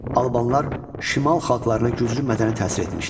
Albanlar şimal xalqlarına güclü mədəni təsir etmişlər.